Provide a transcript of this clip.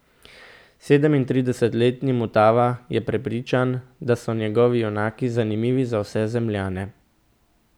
Sedemintridesetletni Mutava je prepričan, da so njegovi junaki zanimivi za vse Zemljane.